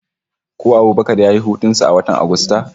Ko Abubakar ya yi hutun sa a watan Agusta?